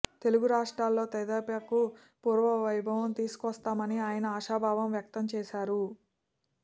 తెలుగు రాష్ట్రాల్లో తెదేపాకు పూర్వ వైభవం తీసుకొస్తామని ఆయన ఆశాభావం వ్యక్తం చేశారు